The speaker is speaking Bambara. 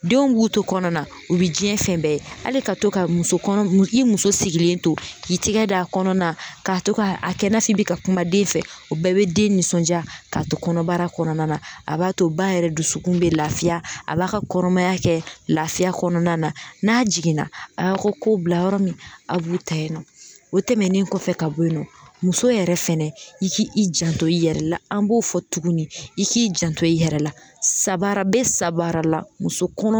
Denw b'u to kɔnɔna na u bɛ diɲɛ fɛn bɛɛ ye, hali ka to ka muso kɔnɔ i muso sigilen to k'i tigɛ da kɔnɔna na k'a to ka a kɛ i na f'i bi ka kuma den fɛ o bɛɛ bɛ den nisɔndiya k'a to kɔnɔbara kɔnɔna na, a b'a to ba yɛrɛ dusukun bɛ lafiya a b'a ka kɔnɔmaya kɛ lafiya kɔnɔna na, n'a jiginna a y'a ka ko bila yɔrɔ min a b'u ta yen nɔ, o tɛmɛnen kɔfɛ ka bɔ yen nɔ muso yɛrɛ fɛnɛ i k'i janto i yɛrɛ la an b'o fɔ tugunni i k'i janto i yɛrɛ la sanbaara bɛ sanbaara la muso kɔnɔ